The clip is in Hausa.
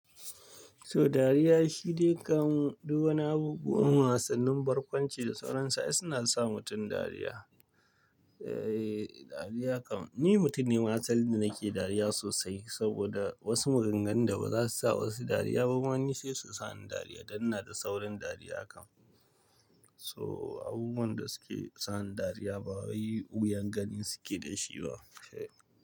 So dariya shi dai kam duk wani abubuwan wasannin barkwanci da sauransu ai suna sa mutum dariya. Eh, dariya kam ni mutum ne ma asali da nake dariya sosai saboda wasu maganganun da ba za su sa wasu dariya ba, wani sai su sa ni dariya dan na da saurin dariya kam. So abubuwan da suke sa ni dariya ba wani wuyan gani suke da shi ba.